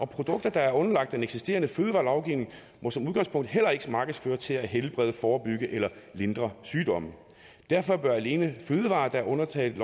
produkter der er underlagt den eksisterende fødevarelovgivning må som udgangspunkt heller ikke markedsføres til at helbrede forebygge eller lindre sygdomme derfor bør alene fødevarer der er undtaget